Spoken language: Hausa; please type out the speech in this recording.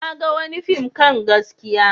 Na ga wani fim kan gaskiya.